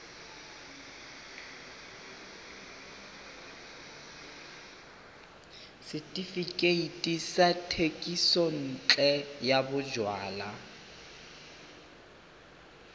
setefikeiti sa thekisontle ya bojalwa